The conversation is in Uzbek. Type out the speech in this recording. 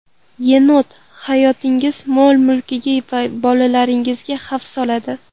Yenot hayotingiz, mol-mulkingiz va bolalaringizga xavf soladi.